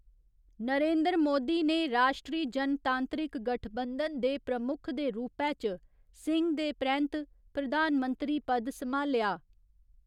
नरेंद्र मोदी ने राश्ट्री जनतांत्रिक गठबंधन दे प्रमुख दे रूपै च सिंह दे परैंत्त प्रधानमंत्री पद सम्हालेआ।